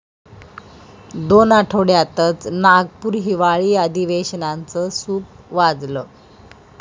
दोन आठवड्यातच नागपूर हिवाळी अधिवेशनाचं सूप वाजलं!